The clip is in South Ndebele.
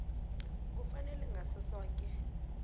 kufanele ngaso soke